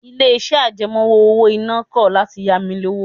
Ilé-iṣẹ́ àjẹmọ́ owó-ìná náà kọ̀ láti ya mi lówó